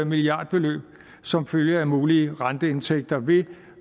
milliardbeløb som følge af mulige renteindtægter